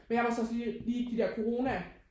Men jeg var så også lige lige de der corona